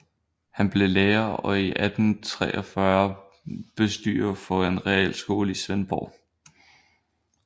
Han blev lærer og i 1843 bestyrer for en realskole i Svendborg